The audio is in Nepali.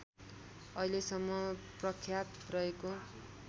अहिलेसम्म प्रख्यात रहेको